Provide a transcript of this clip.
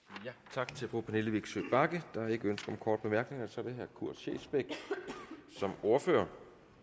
tak til fru pernille vigsø bagge der er ikke ønske om korte bemærkninger så er det herre kurt scheelsbeck som ordfører